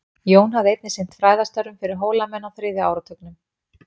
Jón hafði einnig sinnt fræðastörfum fyrir Hólamenn á þriðja áratugnum.